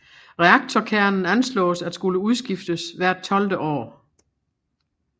Reaktorkernen anslås at skulle udskiftes hvert tolvte år